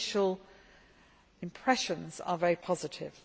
Initial impressions are very positive.